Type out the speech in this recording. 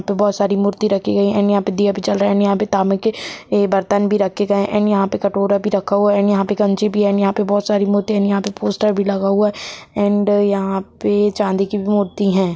बहुत सारी मूर्ति रखी गई है एंड यहां पर दिया भी जल रहा है एंड यहां पे तांबे के बर्तन भी रखे गए हैं एंड यहां पर कटोरा भी रखा हुआ है एंड यहां पे भी है एंड यहां पे बहुत सारे कटोरा भी रखे गए हैं एंड यहां पे पोस्टर भी लगा हुआ हैं एंड यहां पे चांदी की भी मूर्ति हैं।